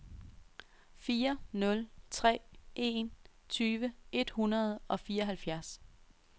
fire nul tre en tyve et hundrede og fireoghalvfjerds